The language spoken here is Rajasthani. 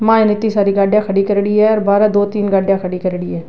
माई ने इत्ती सारी गाड्डियां खड़ी करेड़ी है और बहारे दो तीन गाड्डियां खड़ी करेड़ी है।